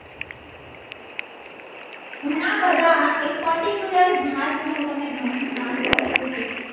ઘણા બધા એક particular ઘાસનું હું તમને ઘાસનું નામ કહું કે